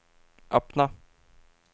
öppna